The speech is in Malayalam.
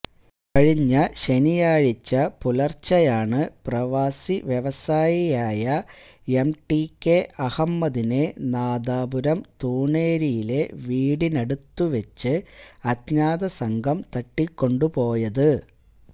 കഴിഞ്ഞ ശനിയാഴ്ച പുലര്ച്ചെയാണ് പ്രവാസി വ്യവസായിയായ എംടികെ അഹമ്മദിനെ നാദാപുരം തൂണേരിയിലെ വീടിനടുത്തു വച്ച് അജ്ഞാത സംഘം തട്ടിക്കൊണ്ട് പോയത്